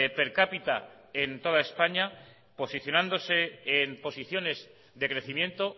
per cápita en toda españa posicionándose en posiciones de crecimiento